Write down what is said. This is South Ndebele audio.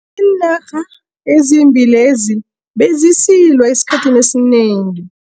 Iinarha ezimbili lezi bezisilwa esikhathini esinengi.